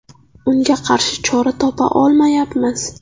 Unga qarshi chora topa olmayapmiz.